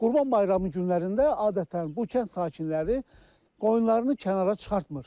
Qurban bayramı günlərində adətən bu kənd sakinləri qoyunlarını kənara çıxartmır.